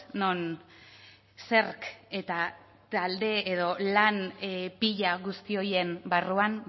non zerk eta talde edo lan pila guzti horien barruan